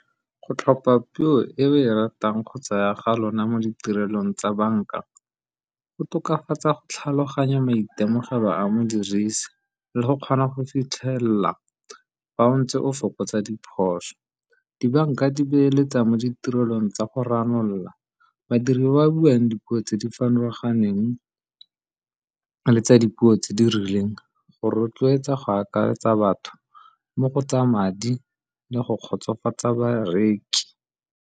Go tlhopha puo e o e ratang kgotsa ya ga lona mo ditirelong tsa banka, go tokafatsa go tlhaloganya maitemogelo ba a mo dirisi le go kgona go fitlhelela fa o ntse o fokotsa diphoso. Dibanka di beeletsa mo ditirelong tsa go ranolola, badiri ba ba buang dipuo tse di farologaneng le tsa dipuo tse di rileng go rotloetsa go akaretsa batho mo go tsa madi le go kgotsofatsa bareki.